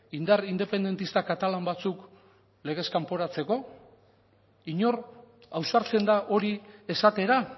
indar independentista katalan batzuk legez kanporatzeko inor ausartzen da hori esatera